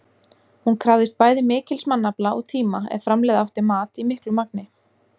Hún krafðist bæði mikils mannafla og tíma ef framleiða átti mat í miklu magni.